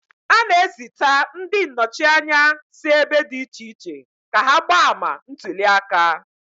A na-ezita ndị nnọchi anya si ebe dị iche iche ka ha gbaa ama ntuli aka.